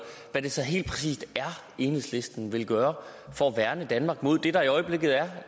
hvad er det så helt præcis enhedslisten vil gøre for at værne danmark mod det der i øjeblikket er